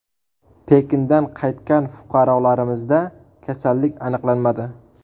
Pekindan qaytgan fuqarolarimizda kasallik aniqlanmadi .